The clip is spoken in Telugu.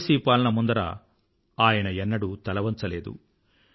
విదేశీ పాలన ముందర ఎన్నడూ తలవంచలేదు